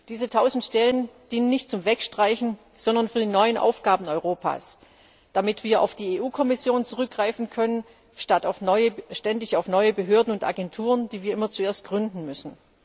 Diese tausend Stellen dienen nicht zum Wegstreichen, sondern für die neuen Aufgaben Europas, damit wir auf die EU Kommission zurückgreifen können statt auf ständig neue Behörden und Agenturen, die wir immer zuerst gründen müssen.